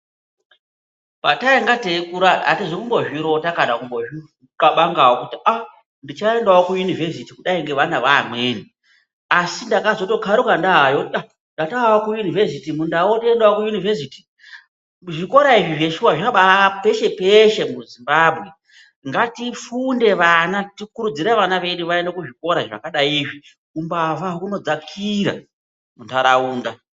Patainga teikura hataizi kumbozvirota kana kumbozvi qhavangawo kuti aah tichaendawo kuyunivhesiti kudai ngevana vaamweni asi takazokaruka ndaayo, iyaa ndatovawo kuyunivhesiti mundau otoendawo kuyunivhesiti, zvikora izvi zveshuwa zvabaa peshe peshe muZimbabwe ngatifunde vana tikurudzire vana vaende kuzvikora zvakadai ngeizvi, umbavha unodzakira mundaraunda.